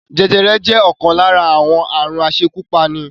Jẹjẹrẹ jẹ́ ọ̀kan lára àwọn aàrùn asekúpani